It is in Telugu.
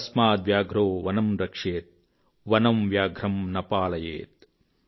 తస్మాద్ వ్యాఘ్రో వనం రక్షేత్ వనం వ్యాఘ్రం న పాలయేత్॥